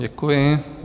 Děkuji.